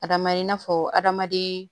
Adama i n'a fɔ adamaden